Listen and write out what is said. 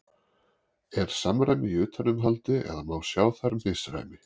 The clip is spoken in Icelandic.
Er samræmi í utanumhaldi eða má sjá þar misræmi?